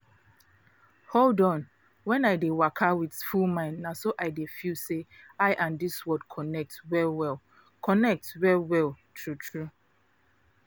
hold on when i dey waka with full mind na so i dey feel say i and dis world connect well-well. connect well-well. true true.